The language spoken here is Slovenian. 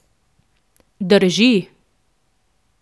Drži.